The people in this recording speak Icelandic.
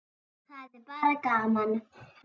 Það er bara gaman.